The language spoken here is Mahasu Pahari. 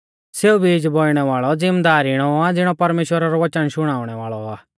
सौ बीजा बौइणै वाल़ौ ज़िमदार इणौ आ ज़िणौ परमेश्‍वरा रौ वचन शुणाउणै वाल़ौ आ